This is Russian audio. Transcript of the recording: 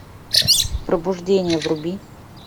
пробуждение вруби